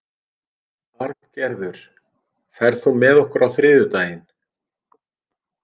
Arngerður, ferð þú með okkur á þriðjudaginn?